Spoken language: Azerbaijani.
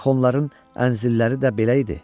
Axı onların əncilləri də belə idi.